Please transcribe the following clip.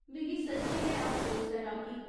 मिगी सच्चें गै अफसोस ऐ, राकी।